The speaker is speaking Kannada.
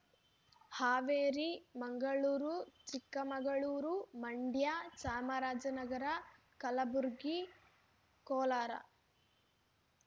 ಹಾವೇರಿ ಮಂಗಳೂರು ಚಿಕ್ಕಮಗಳೂರು ಮಂಡ್ಯ ಚಾಮರಾಜನಗರ ಕಲಬುರಗಿ ಕೋಲಾರ